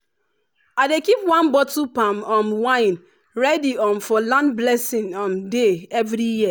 i dey keep one bottle palm um wine ready um for land blessing um day every year.